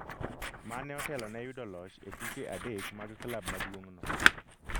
mane otelo ne yudo loch e tuke adek mag klab maduong' no